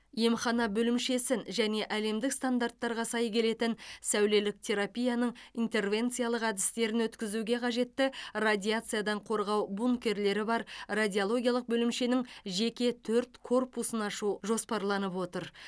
емхана бөлімшесін және әлемдік стандарттарға сай келетін сәулелік терапияның интервенциялық әдістерін өткізуге қажетті радиациядан қорғау бункерлері бар радиологиялық бөлімшенің жеке төрт корпусын ашу жоспарланып отыр